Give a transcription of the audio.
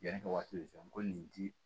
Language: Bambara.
Yanni ka waati jan ko nin ti